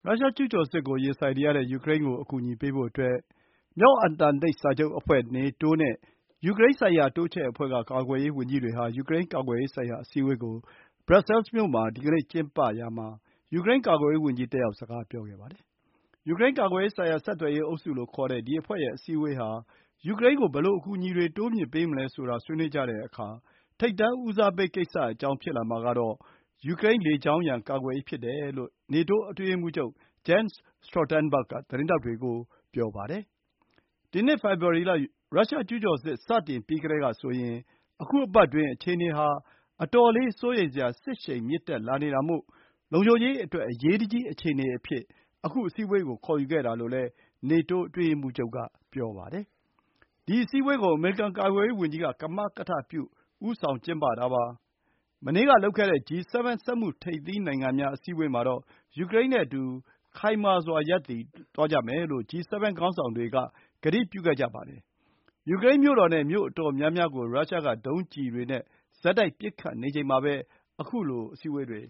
ရုရှားကျူးကျော်စစ်ရင်ဆိုင်နေရတဲ့ ယူကရိန်းကိုအကူအညီပေးဖို့ မြောက်အတ္တလန်တိတ်စာချုပ်အဖွဲ့ NATO ကာကွယ်ရေးဝန်ကြီးတွေရဲ့ ယူကရိန်းကာကွယ်ရေးဆိုင်ရာအစည်းအဝေးကို Brussels မြို့မှာ ဒီကနေ့ ကျင်းပရာမှာ ယူကရိန်းကာကွယ်ရေးဝန်ကြီး တက်ရောက် စကားပြောပါတယ်။ ယူကရိန်းကာကွယ်ရေးဆိုင်ရာ ဆက်သွယ်ရေးအုပ်စုလို့ခေါ်တဲ့ ဒီအဖွဲ့ရဲ့အစည်းအဝေးဟာ ယူကရိန်းကို ဘယ်လို အကူအညီတွေတိုးမြှင့်ပေးမလဲဆိုတာ ဆွေးနွေးကြတဲ့အခါ ထိပ်တန်းဦးစားပေးကိစ္စအကြောင်းဖြစ်လာမှာကတော့ ယူကရိန်း လေကြောင်းရန် ကာကွယ်ရေးဖြစ်တယ်လို့ NATO အတွင်းရေးမှုးချုပ် Jens Stoltenberg က သတင်းထောက်တွေ ကို ပြောပါတယ်။ ဒီနှစ်ဖေဖော်ဝါရီလ ရုရှားကျူးကျော်စစ် စတင်ပြီးကတည်းကဆိုရင် အခု အပတ်အတွင်းအခြေအနေဟာ အတော်လေး စိုးရိမ်စရာ စစ်ရှိန်မြင့်တက်လာနေတာမို့ လုံခြုံရေးအတွက် အရေးတကြီး အခြေအနေအဖြစ် အခု အစည်အးဝေးကို ခေါ်ယူခဲ့တာလို့လည်း NATO အတွင်းရေးမှူးချုပ်ကပြောပါတယ်။ ဒီအစည်းအဝေးကို အမေရိကန်ကာကွယ်ရေးဝန်ကြီးက ကမကထပြု ဦးဆောင်ကျင်းပတာပါ။ မနေ့ကလုပ်တဲ့ G7 စက်မှုထိပ်သီးနိုင်ငံများ အစည်းအဝေးမှာတော့ ယူကရိန်းနဲ့အတူ ခိုင်မာစွာရပ်တည်သွားကြမယ်လို့ G7 ခေါင်းဆောင်တွေ ကတိပြုခဲ့ကြပါတယ်။ ယူကရိန်းမြို့တော်နဲ့ မြို့အတော်များများကို ရုရှားက ဒုံးကျည်တွေနဲ့ ဆက်တိုက်ပစ်ခတ် တိုက်ခိုက်နေချိန်မှာပဲ အခုလို အစည်းအဝေးတွေ